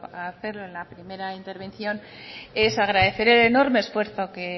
a hacerlo en la primera intervención es agradecer el enorme esfuerzo que